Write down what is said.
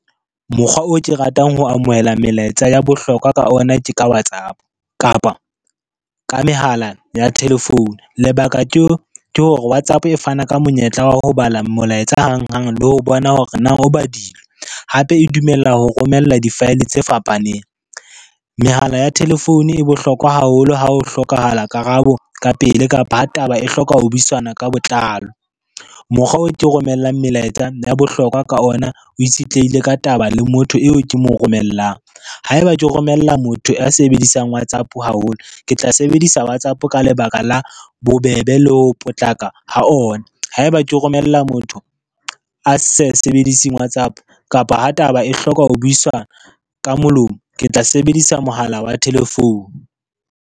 Mokgwa oo ke ratang ho amohela melaetsa ya bohlokwa ka ona ke ka WhatsApp kapa, ka mehala ya telephone, lebaka ke hore WhatsApp e fana ka monyetla wa ho bala molaetsa hang hang le ho bona hore na o badilwe hape e dumella ho romella di-file tse fapaneng. Mehala ya telephone e bohlokwa haholo ha ho hlokahala karabo ka pele kapa ha taba e hloka ho buisana ka botlalo. Mokgwa oo ke romellang melaetsa ya bohlokwa ka ona o itshetlehile ka taba le motho eo ke mo romellang, haeba ke romella motho a sebedisang WhatsApp haholo, ke tla sebedisa WhatsApp ka lebaka la bobebe le ho potlaka ho ona, haeba ke romella motho a sa sebediseng WhatsApp kapa ha taba e hloka ho buisana ka molomo ke tla sebedisa mohala wa telephone.